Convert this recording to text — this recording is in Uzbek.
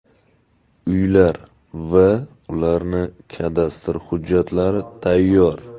Uylar va ularni kadastr hujjatlari tayyor.